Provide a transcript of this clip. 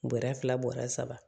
Bɔrɛ fila bɔrɛ saba